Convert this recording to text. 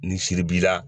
Ni siribana